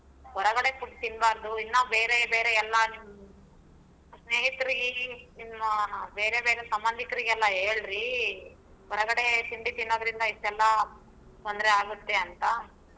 ಹೊರಗಡೆ food ತಿನ್ಬಾರ್ದು ಇನ್ನಾ ಬೇರೆ ಬೇರೆ ಎಲ್ಲಾ ನಿಮ್ ಸ್ನೇಹಿತರಿಗೆ ನಿಮ್ಮ ಬೇರೆ ಬೇರೆ ಸಂಬಂದಿಕರಿಗೆಲ್ಲಾ ಹೇಳ್ರಿ. ಹೊರಗಡೆ ತಿಂಡಿ ತಿನ್ನೋದರಿಂದ ಇಸ್ಟೇಲ್ಲ ತೊಂದರೆ ಆಗತ್ತೆ ಅಂತಾ.